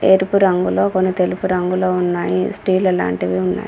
ఎరుపు రంగులో కొన్ని తెలుపు రంగులో ఉన్నాయి స్టీల్లు లాంటివి ఉన్నాయి.